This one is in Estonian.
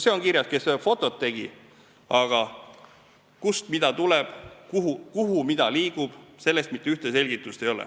See on kirjas, kes need fotod tegi, aga kust miski tuli, kuhu midagi liikus, selle kohta mitte ühtegi selgitust ei ole.